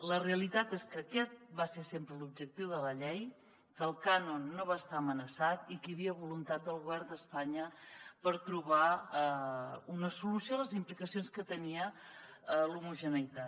la realitat és que aquest va ser sempre l’objectiu de la llei que el cànon no va estar amenaçat i que hi havia voluntat del govern d’espanya per trobar una solució a les implicacions que tenia l’homogeneïtat